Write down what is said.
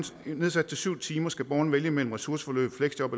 nedsat til syv timer skal borgeren vælge mellem ressourceforløb fleksjob